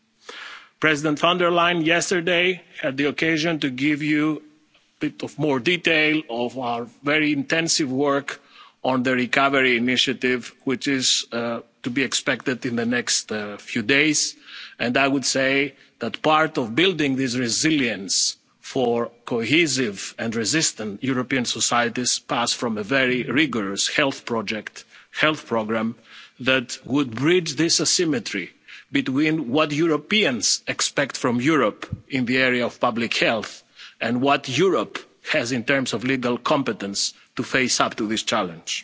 resistant. Yesterday, President von der Leyen had the opportunity to give you a bit more detail about our very intensive work on the recovery initiative, which is to be expected in the next few days. I would say that part of building this resilience for cohesive and resistant European societies passed from a very rigorous health programme that would bridge this asymmetry between what Europeans expect from Europe in the area of public health and what Europe has in terms of legal competence to face up to this